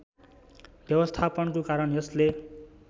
व्यवस्थापनको कारण यसले